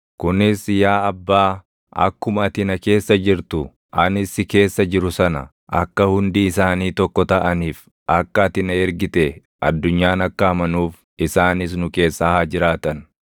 kunis yaa Abbaa, akkuma ati na keessa jirtu, anis si keessa jiru sana, akka hundi isaanii tokko taʼaniif. Akka ati na ergite addunyaan akka amanuuf isaanis nu keessa haa jiraatan.